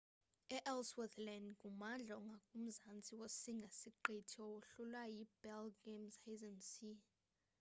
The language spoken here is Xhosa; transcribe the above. i-ellsworth land ngummandla ongakumzantsi wosinga-siqithi owahlulwa yi-bellingshuasen sea